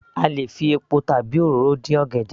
A lè fi epo tàbi òróró dín ọ̀gẹ̀dẹ̀